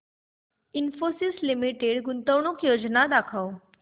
Infosys limited गुंतवणूक योजना दाखव